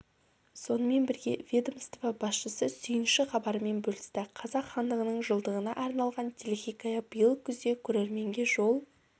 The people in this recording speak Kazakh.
сонымен бірге ведомство басшысы сүйінші хабарымен бөлісті қазақ хандығының жылдығына арналған телехикая биыл күзде көрерменге жол